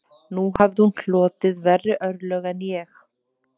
Nú hafði hún hlotið verri örlög en ég